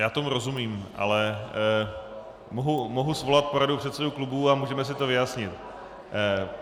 Já tomu rozumím, ale mohu svolat poradu předsedů klubů a můžeme si to vyjasnit.